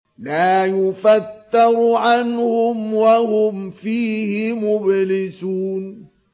لَا يُفَتَّرُ عَنْهُمْ وَهُمْ فِيهِ مُبْلِسُونَ